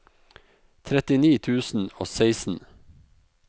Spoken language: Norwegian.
trettini tusen og seksten